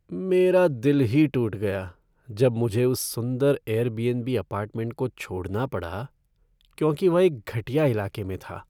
मेरा दिल ही टूट गया जब मुझे उस सुंदर एयरबीएनबी अपार्टमेंट को छोड़ना पड़ा क्योंकि वह एक घटिया इलाके में था।